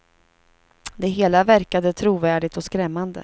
Det hela verkade trovärdigt och skrämmande.